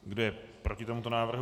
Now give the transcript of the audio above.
Kdo je proti tomuto návrhu?